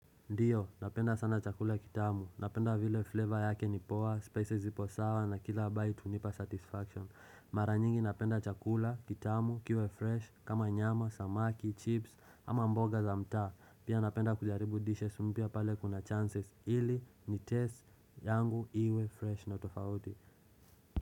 Ndio, napenda sana chakula ya kitamu, napenda vile flavor yake ni poa, spices zipo sawa, na kila bite hunipa satisfaction. Mara nyingi napenda chakula, kitamu, kiwe fresh, kama nyama, samaki, chips, ama mboga za mtaa. Pia napenda kujaribu dishes mpya pale kuna chances, ili ni taste yangu iwe fresh na tofauti.